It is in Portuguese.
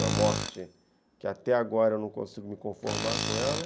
Uma morte que até agora eu não consigo me conformar com ela.